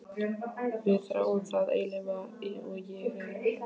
Við þráum það eilífa og ég er eilífðin.